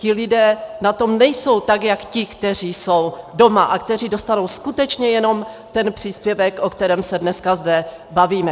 Ti lidé na tom nejsou tak jako ti, kteří jsou doma a kteří dostanou skutečně jenom ten příspěvek, o kterém se dneska zde bavíme.